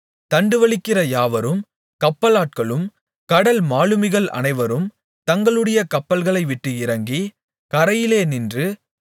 தண்டுவலிக்கிற யாவரும் கப்பலாட்களும் கடல் மாலுமிகள் அனைவரும் தங்களுடைய கப்பல்களை விட்டு இறங்கி கரையிலே நின்று